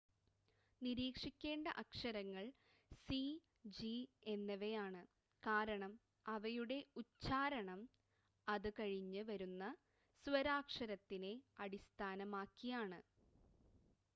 നിരീക്ഷിക്കേണ്ട അക്ഷരങ്ങൾ C G എന്നിവയാണ് കാരണം അവയുടെ ഉച്ചാരണം അത് കഴിഞ്ഞ് വരുന്ന സ്വരാക്ഷരത്തിനെ അടിസ്ഥാനമാക്കിയാണ്